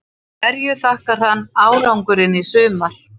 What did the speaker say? Hverju þakkar hann árangurinn í sumar?